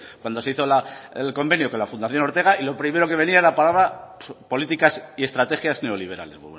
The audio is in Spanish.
cuando se hizo el convenio con la fundación ortega y lo primero que venía la palabra políticas y estrategias neoliberales